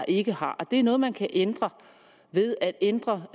ikke har og det er noget man kan ændre ved at ændre